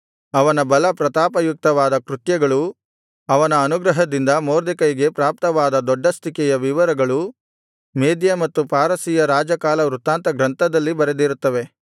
ಅವನ ಬಲ ಪ್ರತಾಪಯುಕ್ತವಾದ ಕೃತ್ಯಗಳೂ ಅವನ ಅನುಗ್ರಹದಿಂದ ಮೊರ್ದೆಕೈಗೆ ಪ್ರಾಪ್ತವಾದ ದೊಡ್ಡಸ್ತಿಕೆಯ ವಿವರಗಳು ಮೇದ್ಯ ಮತ್ತು ಪಾರಸಿಯ ರಾಜಕಾಲ ವೃತ್ತಾಂತಗ್ರಂಥದಲ್ಲಿ ಬರೆದಿರುತ್ತವೆ